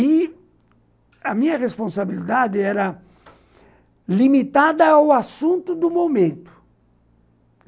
E a minha responsabilidade era limitada ao assunto do momento.